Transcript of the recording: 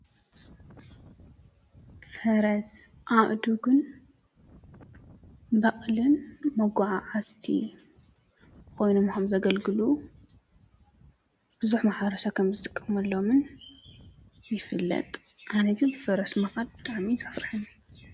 ፈረስ፣ አእዱግን በቕልን መጓዓዓዝቲ ኮይኖም ከምዘገልግሉን ብዙሕ ማሕበረሰብ ከምዝጥቀመሎምን ይፍለጥ። ኣነ ግን ብፈረስ ምኻድ ብጣዕሚ እዩ ዘፍረሐኒ።